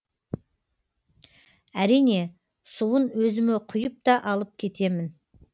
әрине суын өзіме құйып та алып кетемін